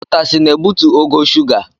Utasị na-ebutu ogo shuga.